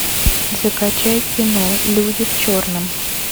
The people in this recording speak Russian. закачай кино люди в черном